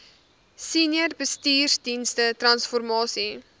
senior bestuursdienste transformasie